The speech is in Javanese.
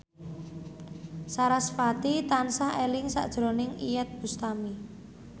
sarasvati tansah eling sakjroning Iyeth Bustami